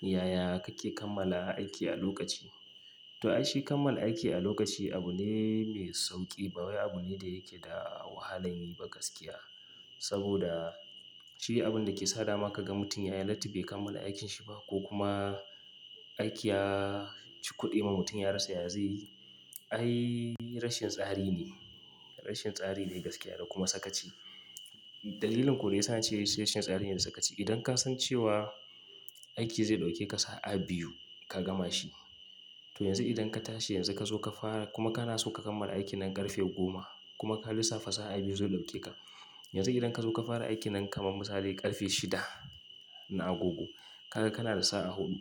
Yaya kake kammala aiki a lokaci? To ai shi kammala aiki a lokaci abu ne mai sauƙi, ba wai abu ne da yake da wahala yi ba gaskiya. Saboda shi abun da ke sa dama kaga mutum ya yi lati bai kammala aikinsa ba ko kuma aiki ya ci kuɗi ma mutum ya rasa ya ya zai yi, ai rashin tsari ne. Rashin tsari ne gaskiya da kuma sakaci. Dalilin ko da yasa nace rashin tsari ne da sakaci. Idan ka san cewa aiki zai ɗauke ka sa'a biyu ka gama shi, to yanzu idan ka tashi yanzu ka zo ka fara kuma kana so ka kammala aikin nan ƙarfe goma kuma ka lissafa sa'a biyu zai ɗauke ka, yanzu idan ka zo ka fara aikin nan kamar misali ƙarfe shida na agogo, ka ga kana da sa'a huɗu,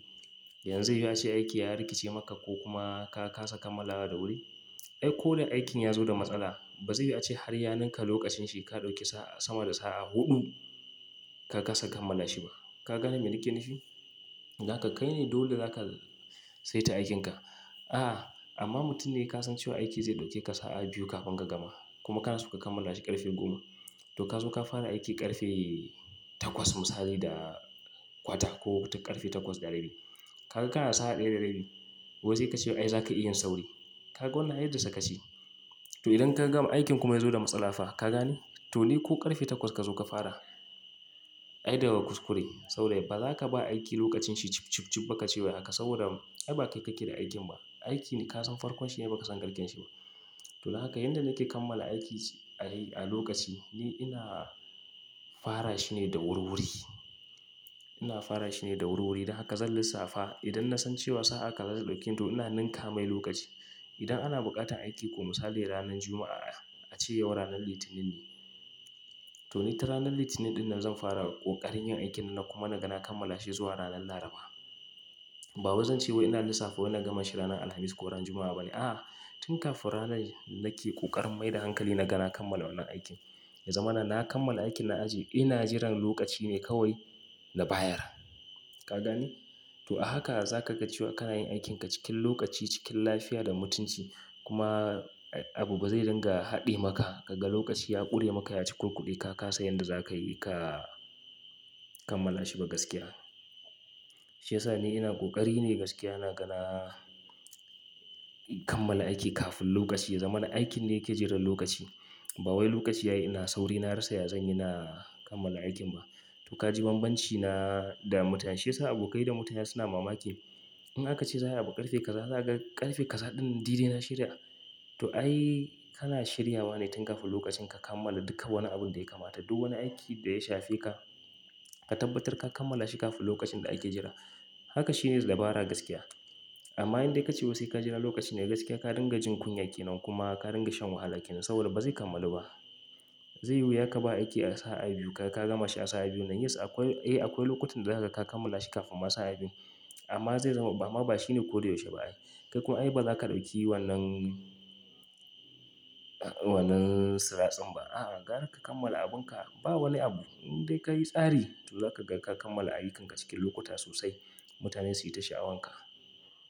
yanzu ya ce aiki ya rikice maka ko kuma ka, ka saka malawa da wuri, ai ko dai aikin ya zo da matsala, ba zai yi a ce har yaninka lokacin shi ka ɗauke sa sama da sa'a huɗu ka kasa kammala shi ba. Ka gane me ni ke nufi? Ga haka kai ne dole za ka saita aikinka. A'a amma mutum ne ka san cewa aiki zai ɗauke ka sa'a biyu kafin ka gama kuma kana so ka kammala shi ƙarfe goma, to ka zo ka fara aiki ƙarfe takwas misali da kwata ko tun karfe takwas da rabi. Kaga kana da sa'a ɗaya da rabi wai zai ka ce wa ai za ka iya yin sauri. Ka ga wannan ai da sakaci. To idan ka gama aikin kuma ya zo da matsala fa ka gane? To ni ko ƙarfe takwas ka zo ka fara, ai daka kuskure sau da yawa ba za ka ba aiki lokacin shi cib, cib, cib ba ka ce wai haka saboda ai ba kai kake da aikin ba. Aiki ne ka san farkon shi ne baka san karshen shi ba. To don haka yanda nake kammala aiki a lokaci ni ina fara shi ne da wuri wuri. Ina fara shi ne da wuri wuri don haka zan lissafa idan na san cewa sa'a kaza zai ɗauke ni to ina ninka mai lokaci. Idan ana buƙatar aiki ko misali ranan Juma'a a ce yau ranan Litinin ne, to ni tun ranan Litinin ɗin nan zan fara ƙoƙarin yin aikin nan kuma na ga na kammala shi zuwa ranan Laraba. Ba wai zan ce wai ina lissafa wani na gama shi ranan Alhamis ko ranan Juma'a ba ne. A'a tun kafin ranan nake ƙoƙarin mai da hankali na ga na kammala wannan aikin. Ya zamana na kammala aikin na ajiye ina jiran lokaci ne kawai na bayar. Ka gane? To a haka za ka ga cewa kana yin aikinka cikin lokaci, cikin lafiya da mutunci kuma abu ba zai dinga haɗe maka. Kaga lokaci ya ƙure maka ya ci kuɗi ka kasa yanda za ka yi ka kammala shi ba gaskiya. Shi ya sa ni ina ƙoƙari ne gaskiya na ga na kammala aiki kafin lokaci ya zama na aikin ne ke jiran lokaci. Ba wai lokaci ya yi ina sauri na rasa yazan ina kammala aikin ba. To ka ji banbanci na da mutane. Shi ya sa abokai da mutane suna mamaki. In aka ce zai haɓa ƙarfe kaza za a ga ƙarfe kaza ɗin dai-dai na shirya. To ai kana shiryawa ne tun kafin lokacin ka kammala duka wani abun da yakamata. Duk wani aiki da ya shafi ka, ka tabbatar ka kammala shi kafin lokacin da ake jira. Haka shine dabara gaskiya. Amma indai ka ce wai sai ka jira lokaci ne gaskiya ka dinga jin kunya ke nan kuma ka dinga shan wahala ke nan saboda ba zai kammalu ba. Zai yiwu ya ka ba aiki a sa'a biyu ka, ka gama shi a sa'a biyun nan. Yes akwai, eh akwai lokutan da zaka ka kammala shi kafin ma sa'a biyu amma zai zama ba amma ba shine ko da yaushe ba ai. Kai kuma ai ba za ka ɗauki wannan, wannan tsiraɗin ba. A'a gara ka kammala abunka ba wani abu indai ka yi tsari to za ka ga ka kammala ayyukanka cikin lokuta sosai. Mutane su yi ta sha'awanka.